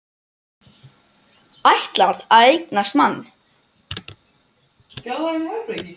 Ætlar að eignast mann.